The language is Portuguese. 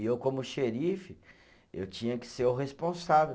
E eu, como xerife, eu tinha que ser o responsável.